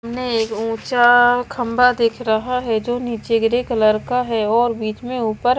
ने ऊंचा खंभा दिख रहा है जो नीचे ग्रे कलर का है और बीच में ऊपर--